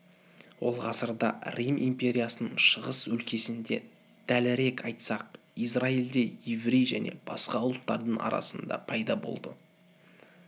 ол ғасырда рим империясының шығыс өлкесінде дәлірек айтсақ израильде еврей және басқа ұлттардың арасында пайда болды